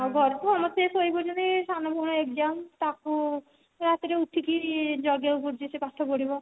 ଆଉ ଘରକୁ ଆମର ସେ ଶୋଇବ ଜଣେ ସାନ ଭଉଣୀ exam ତାକୁ ସେ ରାତିରେ ଉଠିକି ଜଗିବାକୁ ପଡୁଛି ସେ ପାଠ ପଢିବ